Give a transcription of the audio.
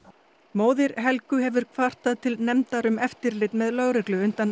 móðir Helgu hefur kvartað til nefndar um eftirlit með lögreglu undan